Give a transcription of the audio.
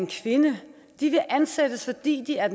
kvinder de vil ansættes fordi de er